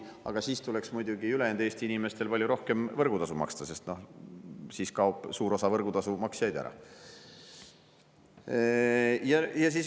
Aga siis tuleks muidugi ülejäänud Eesti inimestel palju rohkem võrgutasu maksta, sest sel juhul kaoks suur osa võrgutasu maksjaid ära.